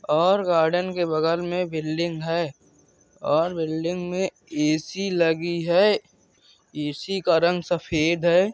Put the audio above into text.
और गार्डन के बगल में बिल्डिंग है और बिल्डिंग में ए.सी. लगी है ए.सी. का रंग सफेद है।